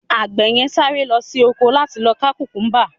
agbe yen sáré lo sí ọkọ la ti lọ ka kukumba